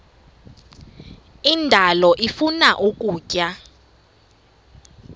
indalo ifuna ukutya